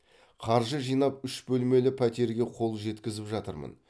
қаржы жинап үш бөлмелі пәтерге қол жеткізіп жатырмын